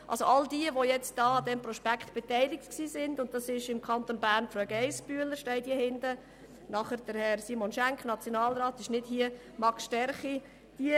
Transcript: An diesem Prospekt waren im Kanton Bern Grossrätin Geissbühler, Nationalrat Simon Schenk sowie Max Sterchi beteiligt, wie auf der letzten Seite aufgeführt ist.